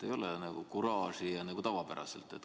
Ei ole seda kuraasi, nagu on tavapäraselt.